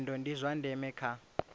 nyendo ndi zwa ndeme kha